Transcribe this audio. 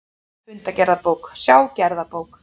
Fundagerðabók, sjá gerðabók